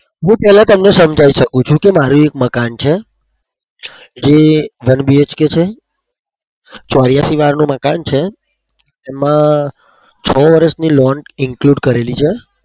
હું પેલા તમને સમજાવી શકું છુ કે મારે એક મકાન છે, જે one BHK છે ચોર્યાસી વારનું મકાન છે. એમાં છ વર્ષની loan include કરેલી છે.